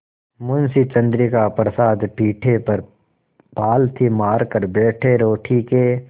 मुंशी चंद्रिका प्रसाद पीढ़े पर पालथी मारकर बैठे रोटी के